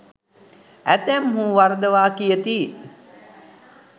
ඇතැම්හූ වරදවා කියති.